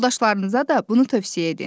Yoldaşlarınıza da bunu tövsiyə edin.